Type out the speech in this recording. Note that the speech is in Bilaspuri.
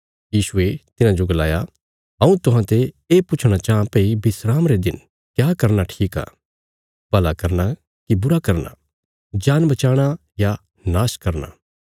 यीशुये तिन्हाजो गलाया हऊँ तुहां ते ये पुछणा चाँह भई विस्राम रे दिन क्या करना ठीक आ भला करना कि बुरा करना जान बचाणा या नाश करना